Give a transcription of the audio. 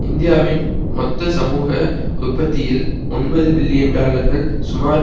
இந்தியாவின் மொத்த சமூக உற்பத்தியில் ஒன்பது பில்லியன் டாலர்கள் சுமார்